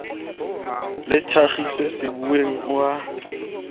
le thakgiswe sebuweng o a